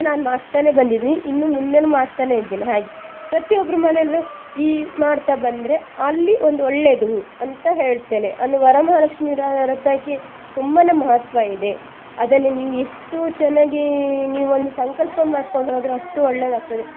ನಾನ್ ಮಾಡ್ತನೆ ಬಂದಿದ್ದೀನಿ ಇನ್ನು ಮುಂದೇನು ಮಾಡ್ತಾನೆ ಇದ್ದೇನೆ ಹಾಗೆ ಪ್ರತಿ ಒಬ್ರು ಮನೆಯಲ್ಲೂ ಈ ಮಾಡ್ತಾ ಬಂದ್ರೆ ಅಲ್ಲಿ ಒಂದು ಒಳ್ಳೇದು ಅಂತ ಹೇಳ್ತೆನೆ ಒಂದು ವರಮಹಾಲಕ್ಷ್ಮೀ ವ್ರ~ ವ್ರತಕ್ಕೆ ತುಂಬಾನೆ ಮಹತ್ವ ಇದೆ ಅದನ್ನ ನೀವು ಎಷ್ಟು ಚೆನ್ನಾಗಿ ನೀವು ಒಂದು ಸಂಕಲ್ಪ ಮಾಡ್ಕೊಂಡು ಹೋದ್ರು ಅಷ್ಟು ಒಳ್ಳೇದಾಗ್ತದೆ.